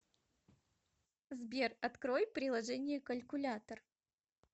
сбер открой приложение калькулятор